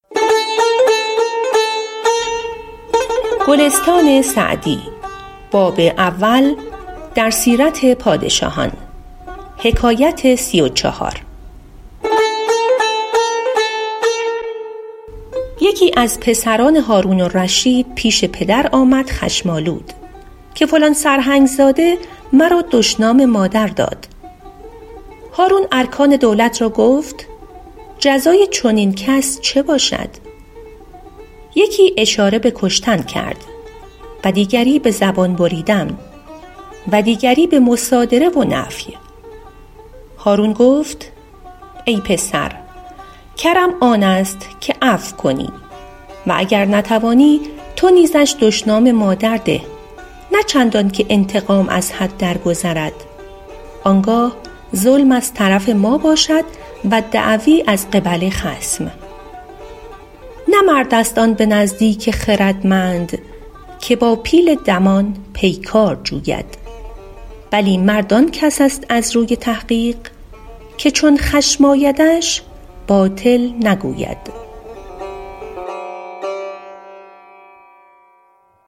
یکی از پسران هارون الرشید پیش پدر آمد خشم آلود که فلان سرهنگ زاده مرا دشنام مادر داد هارون ارکان دولت را گفت جزای چنین کس چه باشد یکی اشاره به کشتن کرد و دیگری به زبان بریدن و دیگری به مصادره و نفی هارون گفت ای پسر کرم آن است که عفو کنی و گر نتوانی تو نیزش دشنام مادر ده نه چندان که انتقام از حد درگذرد آن گاه ظلم از طرف ما باشد و دعوی از قبل خصم نه مرد است آن به نزدیک خردمند که با پیل دمان پیکار جوید بلی مرد آن کس است از روی تحقیق که چون خشم آیدش باطل نگوید